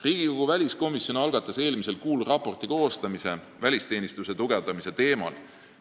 Riigikogu väliskomisjon algatas eelmisel kuul raporti koostamise välisteenistuse tugevdamise teemal.